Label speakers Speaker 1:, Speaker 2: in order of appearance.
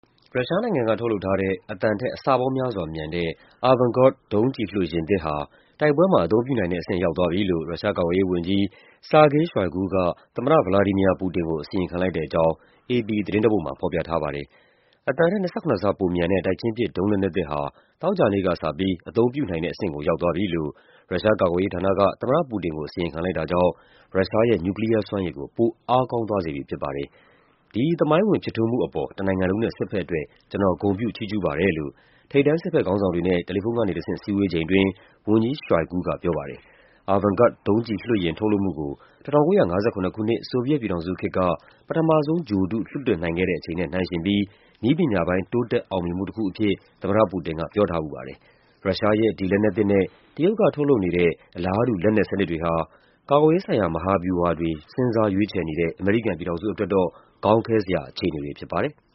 Speaker 1: ရုရှားနိုင်ငံက ထုတ်လုပ်ထားတဲ့ အသံထက် အဆပေါင်းများစွာမြန်တဲ့ Avangard ဒုံးကျည်လွှတ်ယာဉ်သစ်ဟာ တိုက်ပွဲမှာ အသုံး ပြုနိုင်တဲ့အဆင့် ရောက်သွားပြီလို့ ရုရှားကာကွယ်ရေးဝန်ကြီး Sergei Shoigu က သမ္မတ ဗလာဒီမီယာ ပူတင်ကို အစီရင်ခံလိုက် တဲ့အကြောင်း AP သတင်းတပုဒ်မှာ ဖော်ပြထားပါတယ်။ အသံထက် ၂၇ ဆ ပိုမြန်တဲ့ တိုက်ချင်းပစ် ဒုံးလက်နက်သစ်ဟာ သောကြာနေ့ကစပြီး အသုံးပြုနိုင်တဲ့အဆင့်ကို ရောက်သွားပြီလို့ ရုရှားကာကွယ်ရေးဌာနက သမ္မတပူတင်ကို အစီရင်ခံလိုက်တာကြောင့် ရုရှားရဲ့ နျူကလီးယားစွမ်းရည်ကို ပို အားကောင်းသွားစေ ပြီဖြစ်ပါတယ်။ “ဒီ သမိုင်းဝင်ဖြစ်ထွန်းမှုအပေါ် တနိုင်ငံလုံးနဲ့ စစ်ဘက်အတွက် ကျနော် ဂုဏ်ပြုချီးကျူးပါတယ်” လို့ ထိပ်တန်း စစ်ဘက် ခေါင်းဆောင်တွေနဲ့ တယ်လီဖုန်းကနေတဆင့် စည်းဝေးချိန်အတွင်း ဝန်ကြီး Shoigu က ပြောပါတယ်။ Avangard ဒုံးကျည်လွှတ်ယာဉ် ထုတ်လုပ်မှုကို ၁၉၅၇ ခုနှစ် ဆိုဗီယက်ပြည်ထောင်စုခေတ်က ပထမဆုံးဂြိုဟ်တု လွှတ်တင်နိုင်ခဲ့ တဲ့အချိန်နဲ့ နှိုင်းယှဉ်ပြီး နည်းပညာပိုင်း တိုးတက်အောင်မြင်မှုတခုအဖြစ် သမ္မတပူတင်က ပြောထားဖူးပါတယ်။ ရုရှားရဲ့ ဒီလက်နက်သစ်နဲ့ တရုတ်က ထုတ်လုပ်နေတဲ့ အလားတူ လက်နက်စနစ်တွေဟာ ကာကွယ်ရေးဆိုင်ရာ မဟာဗျူဟာတွေ စဉ်းစားရွေးချယ်နေတဲ့ အမေရိကန်ပြည်ထောင်စုအတွက်တော့ ခေါင်းခဲစရာအခြေအနေတွေဖြစ်ပါတယ်။